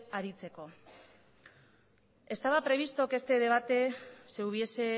aritzeko estaba previsto que este debate se hubiese